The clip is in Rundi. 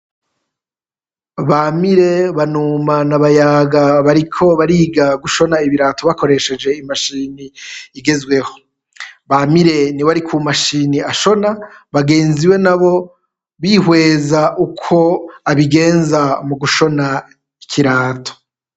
Bamire, Banuma na Bayaga bariko bariga gushona ibirato bakoresheje imashini igezweho, Bamire niwe ari ku mashini ashona, bagenzi be nabo bihweza uko abigenza mu gushona ikirato.